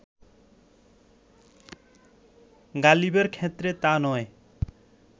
গালিবের ক্ষেত্রে তা নয়